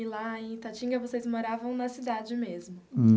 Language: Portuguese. E lá em Itatinga, vocês moravam na cidade mesmo?